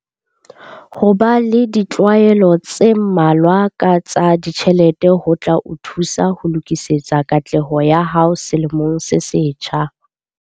Ho ba le ditlwaelo tse mmalwa ka tsa ditjhelete ho tla o thusa ho lokisetsa katleho ya hao selemong se setjha.